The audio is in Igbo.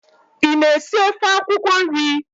Ị na-esi ofe akwụkwọ nri?